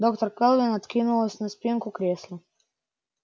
доктор кэлвин откинулась на спинку кресла